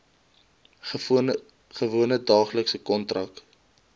gewone daaglikse kontak